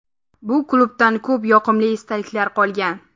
Bu klubdan ko‘p yoqimli esdaliklar qolgan.